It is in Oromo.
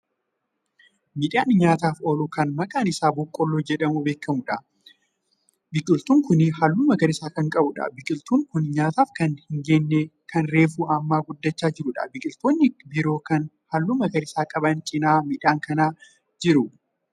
Midhaan nyaataaf oolu Kan maqaan Isaa boqqoolloo jedhamuun beekamuudha biqiltuun Kuni halluu magariisa Kan qabuudha. biqiltuun Kuni nyaataaf Kan hin geenye Kan reefu Amma guddachaa jiruudha. biqiltoonni biroo Kan halluu magariisa qaban cinaa midhaan kanaa jiru